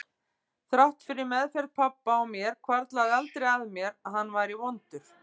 Þrátt fyrir meðferð pabba á mér hvarflaði aldrei að mér að hann væri vondur.